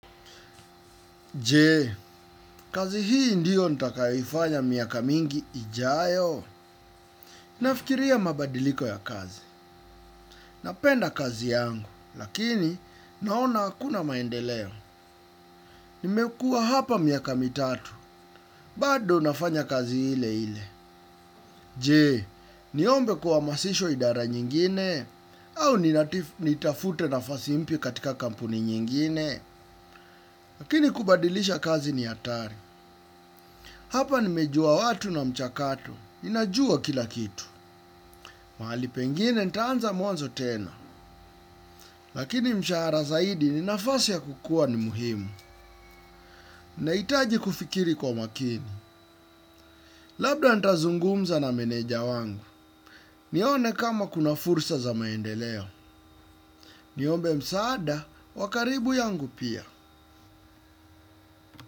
Je, kazi hii ndiyo nitakayoifanya miaka mingi ijayo? Nafikiria mabadiliko ya kazi. Napenda kazi yangu, lakini naona hakuna maendeleo. Nimekua hapa miaka mitatu, bado nafanya kazi ile ile. Je, niombe kuhamasisha idara nyingine, au nitafute nafasi mpya katika kampuni nyingine, lakini kubadilisha kazi ni hatari. Hapa nimejua watu na mchakato, ninajua kila kitu. Mahali pengine nitaanza mwanzo tena. Lakini mshahara zaidi ni nafasi ya kukua ni muhimu. Nahitaji kufikiri kwa makini. Labda ntazungumza na meneja wangu. Nione kama kuna fursa za maendeleo. Niombe msaada, wa karibu yangu pia.